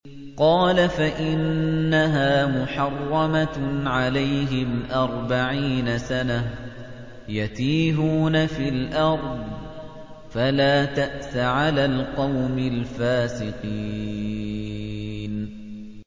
قَالَ فَإِنَّهَا مُحَرَّمَةٌ عَلَيْهِمْ ۛ أَرْبَعِينَ سَنَةً ۛ يَتِيهُونَ فِي الْأَرْضِ ۚ فَلَا تَأْسَ عَلَى الْقَوْمِ الْفَاسِقِينَ